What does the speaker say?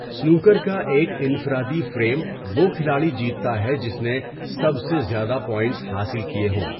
Snooker کا ایک انفرادی فریم وہ کھلاڑی جیتتا ہے جس نے سب سے زیادہ پوائنٹس حاصل کیے ہوں۔